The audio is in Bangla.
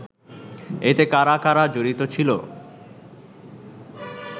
এতে কারা কারা জড়িত ছিল